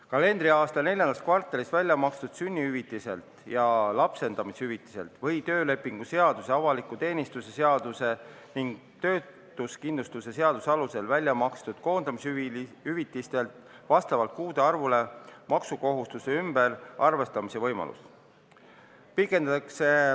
Kalendriaasta neljandas kvartalis väljamakstud sünnitushüvitise ja lapsendamishüvitise või töölepingu seaduse, avaliku teenistuse seaduse ning töötuskindlustuse seaduse alusel välja makstud koondamishüvitise puhul on vastavalt kuude arvule maksukohustuse ümberarvestamise võimalus.